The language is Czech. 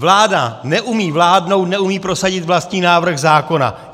Vláda neumí vládnout, neumí prosadit vlastní návrh zákona.